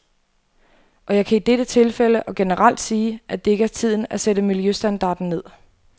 Og jeg kan i dette tilfælde og generelt sige, at det ikke er tiden at sætte miljøstandarden ned.